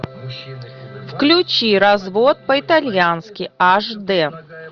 включи развод по итальянски аш дэ